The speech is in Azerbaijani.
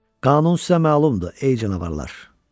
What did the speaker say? Qanun sizə məlumdur, ey canavarlar.